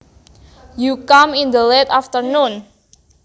You come in the late afternoon